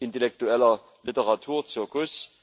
intellektueller Literaturzirkus.